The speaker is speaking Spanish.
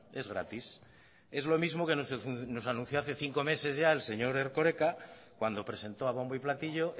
es gratis es lo mismo que nos anunció hace cinco meses ya el señor erkoreka cuando presentó a bombo y platillo